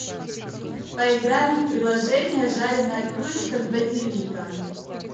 поиграем в приложение жареная курочка с базиликом